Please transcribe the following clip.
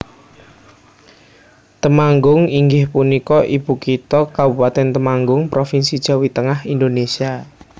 Temanggung inggih punika ibukitha Kabupatèn Temanggung Provinsi Jawi Tengah Indonésia